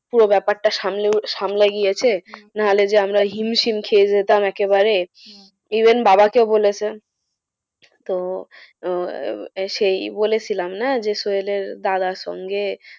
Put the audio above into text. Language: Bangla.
পুরো ব্যাপারটা সামলে সামলে গেয়েছে? না হলে যে আমরা হিমশিম খেয়ে যেতাম একেবারে even বাবাকে বলেছে। তো আহ সেই বলেছিলাম না যে সোহেলের দাদার সঙ্গে,